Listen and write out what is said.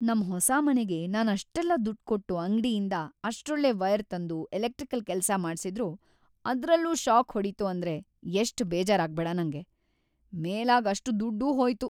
ನಮ್‌ ಹೊಸ ಮನೆಗೆ ನಾನ್‌ ಅಷ್ಟೆಲ್ಲ ದುಡ್ಡ್‌ ಕೊಟ್ಟು ಅಂಗ್ಡಿಯಿಂದ ಅಷ್ಟೊಳ್ಳೆ ವೈರ್‌ ತಂದು ಎಲೆಕ್ಟ್ರಿಕ್ ಕೆಲ್ಸ ಮಾಡ್ಸಿದ್ರೂ ಅದ್ರಲ್ಲೂ ಷಾಕ್‌ ಹೊಡೀತು ಅಂದ್ರೆ ಎಷ್ಟ್ ಬೇಜಾರಾಗ್ಬೇಡ ನಂಗೆ! ಮೇಲಾಗ್ ಅಷ್ಟ್‌ ದುಡ್ಡೂ ಹೋಯ್ತು.